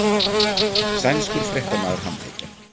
Sænskur fréttamaður handtekinn